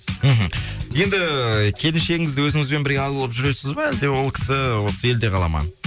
мхм енді ііі келіншегіңізді өзіңізбен бірге алып жүресіз бе әлде ол кісі осы елде қала ма